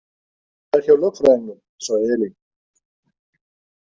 Það er hjá lögfræðingnum, sagði Elín.